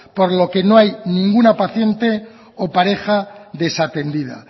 por lo que no hay ninguna paciente o pareja desatendida